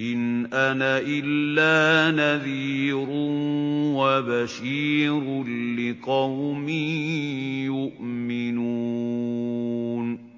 إِنْ أَنَا إِلَّا نَذِيرٌ وَبَشِيرٌ لِّقَوْمٍ يُؤْمِنُونَ